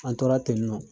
An tora tennɔ